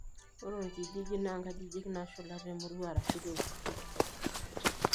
Ore orkijiji naa inkajijik naashula temurua arashuu iltururi.